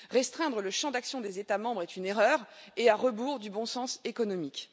Restreindre le champ d'action des États membres est une erreur et à rebours du bon sens économique.